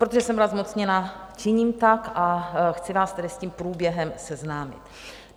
Protože jsem byla zmocněna, činím tak a chci vás tedy s tím průběhem seznámit.